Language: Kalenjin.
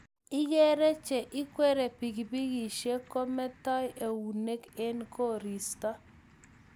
igeere che igwerie pikipikishek kometoi eunek eng koristo